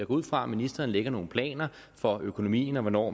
ud fra at ministeren lægger nogle planer for økonomien og hvornår